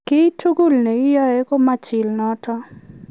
kiy tugul ne iyae ko mechil notok